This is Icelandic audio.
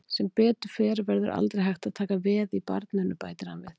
Sem betur fer verður aldrei hægt að taka veð í barninu, bætir hann við.